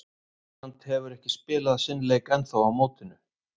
England hefur ekki spilað sinn leik ennþá á mótinu.